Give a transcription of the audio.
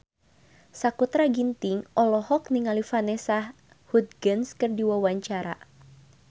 Sakutra Ginting olohok ningali Vanessa Hudgens keur diwawancara